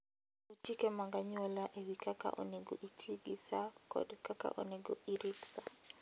Luw chike mag anyuola e wi kaka onego iti gi sa kod kaka onego irit sa.